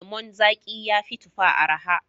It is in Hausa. Lemon zaƙi ya fi tufa araha.